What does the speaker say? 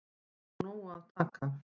Sé þó af nógu að taka